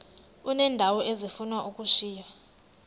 uneendawo ezifuna ukushiywa